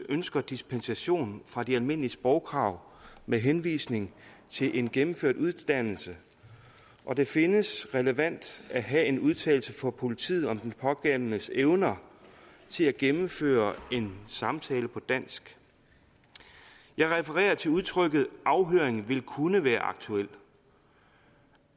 ønsker dispensation fra de almindelige sprogkrav med henvisning til en gennemført uddannelse og det findes relevant at have en udtalelse fra politiet om den pågældendes evner til at gennemføre en samtale på dansk jeg refererer til udtrykket afhøring vil kunne være aktuel